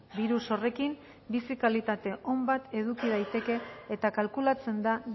birus horrekin bizi kalitate on bat eduki daiteke eta kalkulatzen da